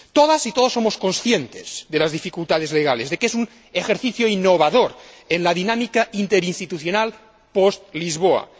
Todas y todos somos conscientes de las dificultades legales, de que este es un ejercicio innovador en la dinámica interinstitucional post Lisboa.